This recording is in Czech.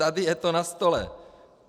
Tady je to na stole.